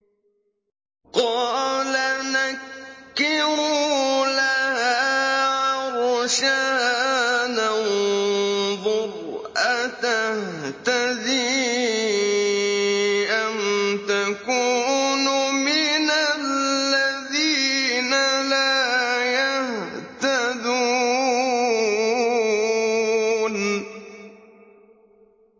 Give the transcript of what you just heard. قَالَ نَكِّرُوا لَهَا عَرْشَهَا نَنظُرْ أَتَهْتَدِي أَمْ تَكُونُ مِنَ الَّذِينَ لَا يَهْتَدُونَ